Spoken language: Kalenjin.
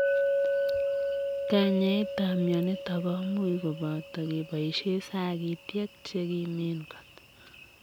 Kanyaet ap mionitok komuuch kopotoo kebaishee sakitiek chekimeen koot